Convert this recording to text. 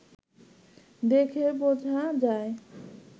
দেখে বোঝা যায়